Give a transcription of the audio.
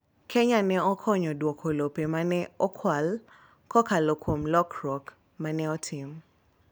Kenya ne okonyo duoko lope ma ne okwal kokalo kuom lokruok ma ne otim.